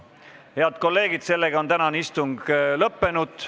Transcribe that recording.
Head kolleegid, tänane istung on lõppenud.